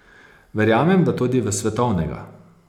Verjamem, da tudi v svetovnega.